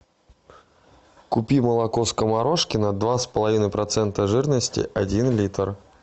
купи молоко скоморошкино два с половиной процента жирности один литр